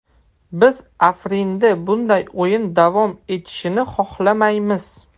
Biz Afrinda bunday o‘yin davom etishini xohlamaymiz.